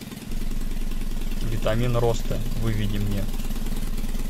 витамин роста выведи мне